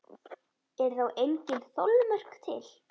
Eru þá engin þolmörk til?